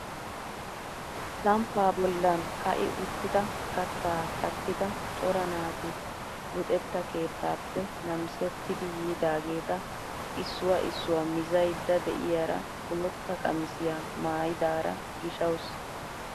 Samppaa bollan ka'i uttida kattaa kattida cora naati luxetta keettaappe namisettidi yiidageta issuwaa issuwaa mizaydda de'iyaara bootta qamisiyaa maayidara gishawus.